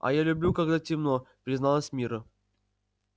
а я люблю когда темно призналась мирра